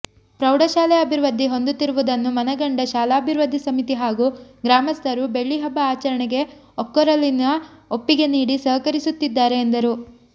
ಪ್ರೌಢಶಾಲೆ ಅಭಿವೃದ್ಧಿ ಹೊಂದುತ್ತಿರುವುದನ್ನು ಮನಗಂಡ ಶಾಲಾಭಿವೃದ್ಧಿ ಸಮಿತಿ ಹಾಗೂ ಗ್ರಾಮಸ್ಥರು ಬೆಳ್ಳಿಹಬ್ಬ ಆಚರಣೆಗೆ ಒಕ್ಕೊರಲಿನ ಒಪ್ಪಿಗೆ ನೀಡಿ ಸಹಕರಿಸುತ್ತಿದ್ದಾರೆ ಎಂದರು